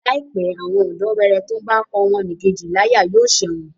Láìpé, àwọn ọ̀dọ́wẹrẹ tó bá n pá ọmọnìkejì láyà yóò ṣẹ̀wọ̀n